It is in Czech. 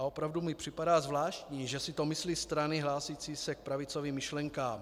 A opravdu mi připadá zvláštní, že si to myslí strany hlásící se k pravicovým myšlenkám.